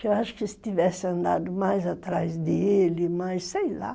Que eu acho que se tivesse andado mais atrás dele, mais sei lá.